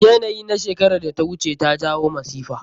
Yanayi na shekerar da ta wuce ta jawo masifa.